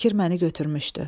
Fikir məni götürmüşdü.